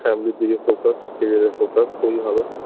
family -র দিকে focus carrier -এর focus খুবই ভালো